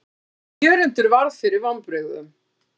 En Jörundur varð fyrir vonbrigðum.